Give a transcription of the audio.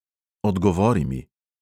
Odgovori mi.